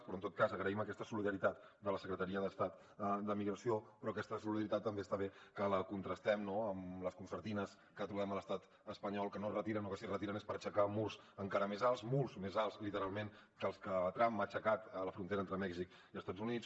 però en tot cas agraïm aquesta solidaritat de la secretaria d’estat de migració però aquesta solidaritat també està bé que la contrastem no amb les concertines que trobem a l’estat espanyol que no es retiren o que si es retiren és per aixecar murs encara més alts murs més alts literalment que els que trump ha aixecat a la frontera entre mèxic i estats units